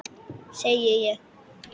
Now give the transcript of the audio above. Segi ég.